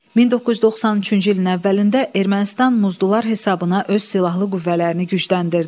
1993-cü ilin əvvəlində Ermənistan muzdular hesabına öz silahlı qüvvələrini gücləndirdi.